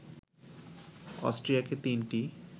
অস্ট্রিয়াকে তিনটি